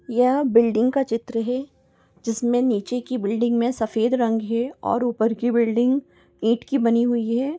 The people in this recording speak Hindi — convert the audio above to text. यह बिल्डिंग का चित्र हे जिसमें नीचे की बिल्डिंग में सफेद रंग है और ऊपर की बिल्डिंग ईंट की बनी हुई है।